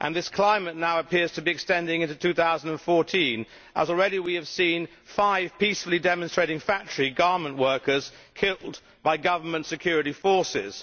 This climate now appears to be extending into 2014, as already we have seen five peacefully demonstrating garment factory workers killed by government security forces.